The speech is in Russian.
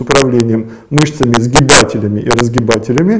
управлением мышцами сгибателями и разгибателями